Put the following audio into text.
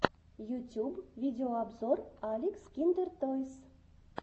ютюб видеообзор алекс киндертойс